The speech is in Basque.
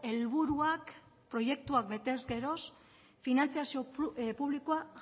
helburuak proiektuak betez geroz finantzazio publikoa